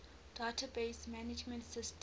database management systems